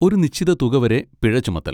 ഒരു നിശ്ചിത തുക വരെ പിഴ ചുമത്തൽ.